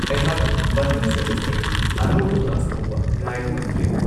ꯑꯩꯍꯥꯛ ꯃꯊꯪ ꯁꯦꯃꯤꯁꯇꯔꯒꯤ ꯑꯅꯧꯕ ꯀ꯭ꯂꯥꯁ ꯍꯧꯕ ꯉꯥꯏꯕ ꯉꯝꯗ꯭ꯔꯦ !